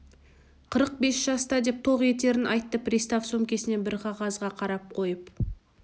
қырық бес жаста деп тоқ етерін айтты пристав сөмкесінен бір қағазға қарап қойып